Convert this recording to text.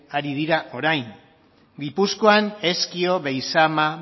ari dira orain gipuzkoan ezkio beizama